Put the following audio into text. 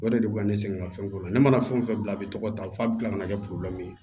O de bɛ ka ne sɛgɛn ka fɛnko la ne mana fɛn o fɛn bila a bɛ tɔgɔ ta fo a bɛ kila ka na kɛ ye